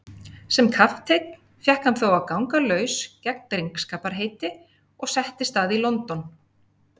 Sem kapteinn fékk hann þó að ganga laus gegn drengskaparheiti og settist að í London.